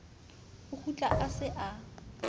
o kgutla a se a